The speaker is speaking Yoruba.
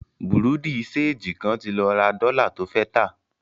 Bùrúdì ṣẹegì kan ti lọ ra dọ́lá to fẹ́ tà.